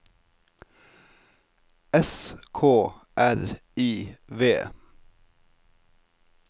S K R I V